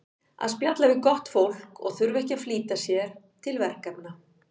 Að spjalla við gott fólk og þurfa ekki að flýta sér til verkefna.